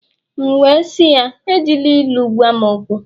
M'we si ya, Ejila ilu gwam okwu